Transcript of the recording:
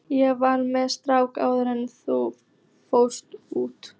Ég var með strák áður en ég fór út.